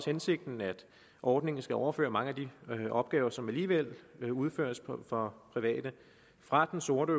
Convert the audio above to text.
hensigten at ordningen skal overføre mange af de opgaver som alligevel udføres for private fra den sorte